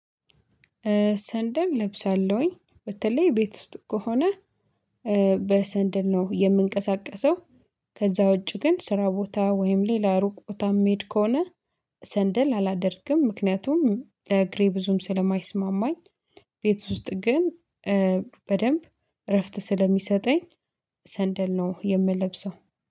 ሰንደም እለብሳለሁኝ በተለይ ቤት ውስጥ ከሆነ በሰንደል ነው የምንቀሳቀሰው። ከዛ ውጪ ግን ስራ ቦታ ወይም ሌላ ሩቅ ቦታ የሚሄድ ከሆነ ሰንደል አላደርግም ምክንያቱም ለእግሬ ብዙም ስለማይስማማኝ። ቤት ውስጥ ግን በደንብ እረፍት ስለሚሰጠኝ ሰንደል ነው የምለብሰው